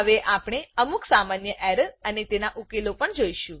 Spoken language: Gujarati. હવે આપણે અમુક સામાન્ય એરર અને તેના ઉકેલો પણ જોઈશું